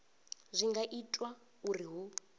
zwi nga itwa uri hu